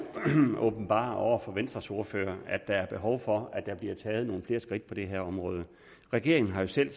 åbenbare over for venstres ordfører at der er behov for at der bliver taget nogle flere skridt på det her område regeringen har jo selv